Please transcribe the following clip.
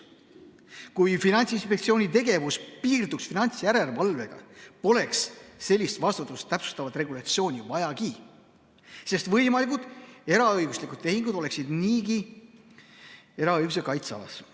Kui Finantsinspektsiooni tegevus piirduks finantsjärelevalvega, poleks sellist vastutust täpsustavat regulatsiooni vajagi, sest võimalikud eraõiguslikud tehingud oleksid niigi eraõiguse kaitsealas.